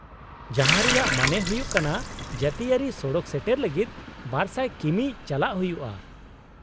-ᱡᱟᱦᱟᱸ ᱨᱮᱭᱟᱜ ᱢᱟᱱᱮ ᱦᱩᱭᱩᱜ ᱠᱟᱱᱟ ᱡᱟᱹᱛᱤᱭᱟᱹᱨᱤ ᱥᱚᱲᱚᱠ ᱥᱮᱴᱮᱨ ᱞᱟᱹᱜᱤᱫ ᱒᱐᱐ ᱠᱤᱢᱤ ᱪᱟᱞᱟᱜ ᱦᱩᱭᱩᱜᱼᱟ ᱾